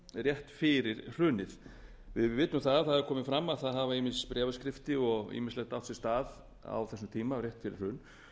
rétt fyrir hrunið við vitum að það hefur komið fram að það hafa ýmis bréfaskipti og ýmislegt átt sér stað á þessum tíma rétt fyrir